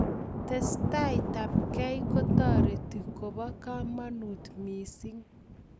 Testai tabkei kotareti kobo kamanut mising'